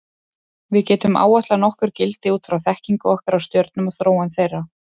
Við getum áætlað nokkur gildi út frá þekkingu okkar á stjörnum og þróun þeirra.